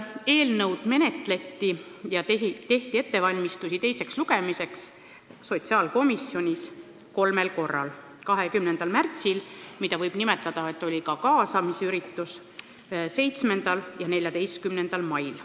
Eelnõu menetleti ja tehti ettevalmistusi teiseks lugemiseks sotsiaalkomisjonis kolmel korral: 20. märtsil, mida võib nimetada ka kaasamisürituseks, 7. ja 14. mail.